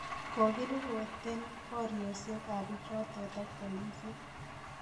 Kokiripoten baryosiek ab pichotet ak polisiek